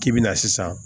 K'i bi na sisan